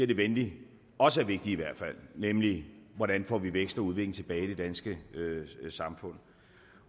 det venligt også er vigtige nemlig hvordan får vi vækst og udvikling tilbage i det danske samfund